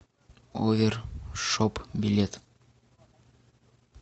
овер шоп билет